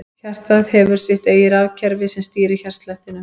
Hjartað hefur sitt eigið rafkerfi sem stýrir hjartslættinum.